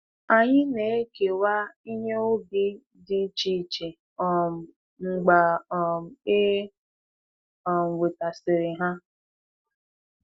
Anyị na-ekewa ihe ubi dị iche iche um mgbe um e um wetasịrị ha.